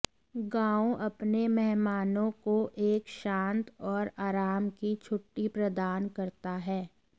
गांव अपने मेहमानों को एक शांत और आराम की छुट्टी प्रदान करता है